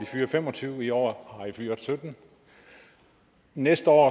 fyre fem og tyve i år har de fyret syttende næste år